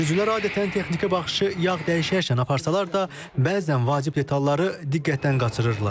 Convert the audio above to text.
Sürücülər adətən texniki baxışı yağ dəyişərkən aparsalar da, bəzən vacib detalları diqqətdən qaçırırlar.